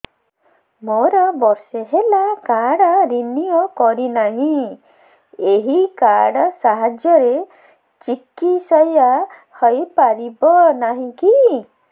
ମୋର ବର୍ଷେ ହେଲା କାର୍ଡ ରିନିଓ କରିନାହିଁ ଏହି କାର୍ଡ ସାହାଯ୍ୟରେ ଚିକିସୟା ହୈ ପାରିବନାହିଁ କି